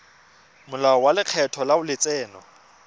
molao wa lekgetho wa letseno